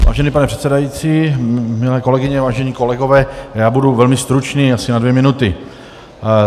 Vážený pane předsedající, milé kolegyně, vážení kolegové, já budu velmi stručný, asi na dvě minuty.